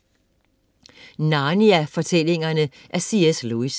Narnia fortællingerne af C.S. Lewis